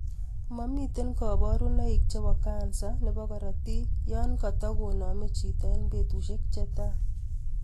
Momiten koborunoik chebo kansa nebo korotik yon katagoname chito en betusiek che tai